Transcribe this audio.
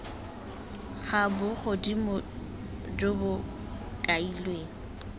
ga bogodimo jo bo kailweng